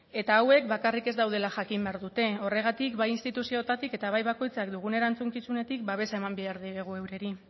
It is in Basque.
eta hauek bakarrik ez daudela jakin behar dute horregatik bai instituzioetatik eta bai bakoitzak dugun erantzukizunetik babesa eman behar diegu eurei